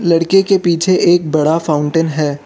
लड़के के पीछे एक बड़ा फाउंटेन है।